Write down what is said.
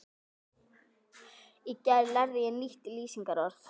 Í gær lærði ég nýtt lýsingarorð.